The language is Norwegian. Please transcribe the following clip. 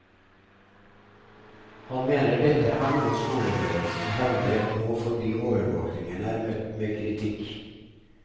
Han mener dette er noe skoleledelsen hevder nå fordi overvåkingen er møtt med kritikk.